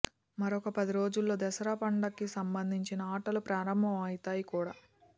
మరొక పది రోజుల్లో దసరా పండగకి సంబందించిన ఆటలు ప్రారంభం అవుతాయి కూడా